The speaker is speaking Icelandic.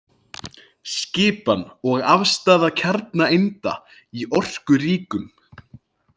Skipan og afstaða kjarnaeinda í orkuríkum.